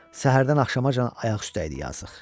Səhərdən axşamacan ayaq üstə idi yazıq.